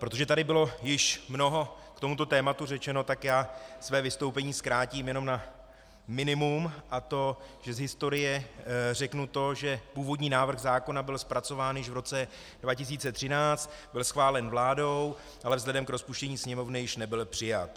Protože tady bylo již mnoho k tomuto tématu řečeno, tak já své vystoupení zkrátím jenom na minimum, a to že z historie řeknu to, že původní návrh zákona byl zpracován již v roce 2013, byl schválen vládou, ale vzhledem k rozpuštění Sněmovny již nebyl přijat.